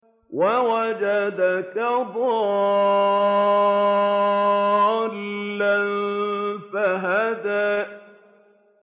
وَوَجَدَكَ ضَالًّا فَهَدَىٰ